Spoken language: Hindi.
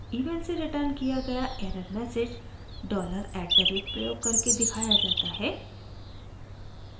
eval से रिटर्न किया गया error message $@ dollar at the rate प्रयोग करके दिखाया जाता है